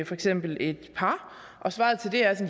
for eksempel et par svaret til det er